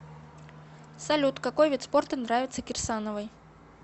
салют какой вид спорта нравится кирсановой